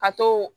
Ka to